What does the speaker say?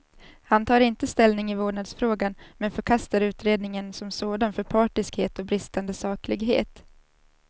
Han tar inte ställning i vårdnadsfrågan, men förkastar utredningen som sådan för partiskhet och bristande saklighet.